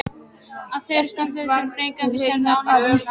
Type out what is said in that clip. Af þeirri staðreynd verða dregnar vissar ályktanir.